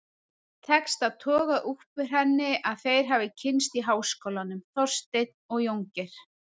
Tekst að toga upp úr henni að þeir hafi kynnst í háskólanum, Þorsteinn og Jóngeir.